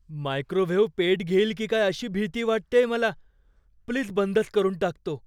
Microwave पेट घेईल की काय अशी भीती वाटतेय मला. प्लीज बंदच करून टाक तो.